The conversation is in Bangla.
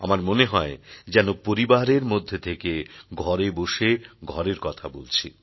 আমার মনে হয় যেন পরিবারের মধ্যে থেকে ঘরে বসে ঘরের কথা বলছি